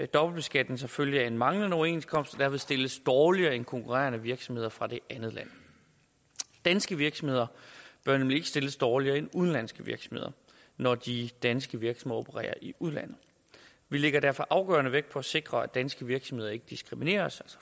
dobbeltbeskatning som følge af manglende overenskomst og derved stilles dårligere end konkurrerende virksomheder fra det andet land danske virksomheder bør nemlig ikke stilles dårligere end udenlandske virksomheder når de danske virksomheder opererer i udlandet vi lægger derfor afgørende vægt på at sikre at danske virksomheder ikke diskrimineres